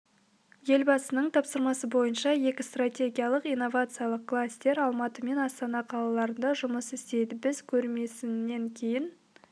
елбасының тапсырмасы бойынша екі стратегиялық инновациялық кластер алматы мен астана қалаларында жұмыс істейді біз көрмесінен кейін